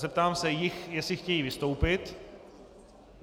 Zeptám se jich, jestli chtějí vystoupit.